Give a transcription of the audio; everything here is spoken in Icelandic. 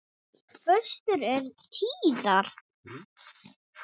Föstur eru tíðar.